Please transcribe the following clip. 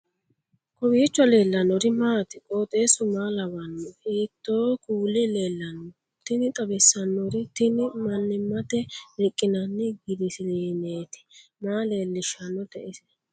kowiicho leellannori maati ? qooxeessu maa lawaanno ? hiitoo kuuli leellanno ? tini xawissannori tini mannimmate rqqinanni girsiliineeti maa leellishshannote ise